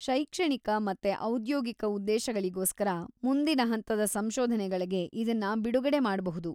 ಶೈಕ್ಷಣಿಕ ಮತ್ತೆ ಔದ್ಯೋಗಿಕ ಉದ್ದೇಶಗಳಿಗೋಸ್ಕರ ಮುಂದಿನ ಹಂತದ ಸಂಶೋಧನೆಗಳ್ಗೆ ಇದನ್ನ ಬಿಡುಗಡೆ ಮಾಡ್ಬಹುದು.